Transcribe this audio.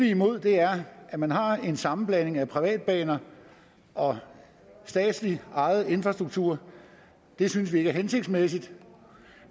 imod er at man har en sammenblanding af privatbaner og statsligt ejet infrastruktur det synes vi ikke er hensigtsmæssigt